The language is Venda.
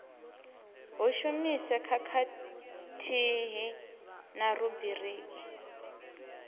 hu shumiswe khathihi na rubriki